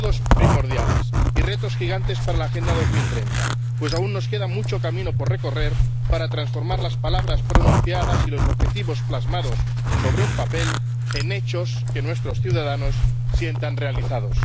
todos primordiales, y retos gigantes para la Agenda 2030, pues aún nos queda mucho camino por recorrer para transformar las palabras pronunciadas y los objetivos plasmados sobre un papel en hechos que nuestros ciudadanos sientan realizados.